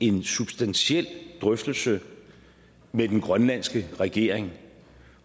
en substantiel drøftelse med den grønlandske regering